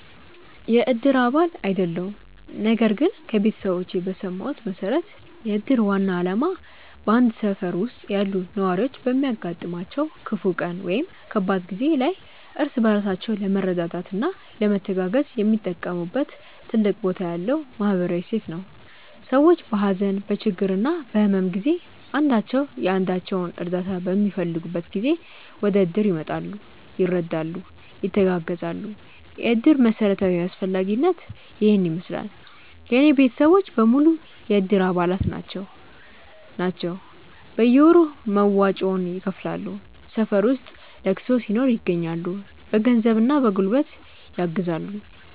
የእድር አባል አይደለሁም ነገር ግን ከቤተሰቦቼ በሰማሁት መሠረት የእድር ዋና ዓላማ በአንድ ሠፈር ውስጥ ያሉ ነዋሪዎች በሚያጋጥማቸው ክፉ ቀን ወይም ከባድ ጊዜ ላይ እርስ በራሳቸው ለመረዳዳትና ለመተጋገዝ የሚጠቀሙበት ትልቅ ቦታ ያለው ማኅበራዊ እሴት ነው። ሰዎች በሀዘን፣ በችግርና በሕመም ጊዜ አንዳቸው የአንዳቸውን እርዳታ በሚፈልጉበት ጊዜ ወደእድር ይመጣሉ፤ ይረዳሉ፣ ይተጋገዛሉ። የእድር መሠረታዊ አስፈላጊነት ይሔን ይመሥላል። የእኔ ቤተሰቦች በሙሉ የእድር አባላት ናቸው ናቸው። በየወሩ መዋጮውን ይከፍላሉ፣ ሠፈር ውስጥ ለቅሶ ሲኖር ይገኛሉ። በገንዘብና በጉልበት ያግዛሉ።